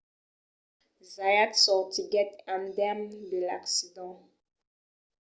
zayat sortiguèt indemne de l’accident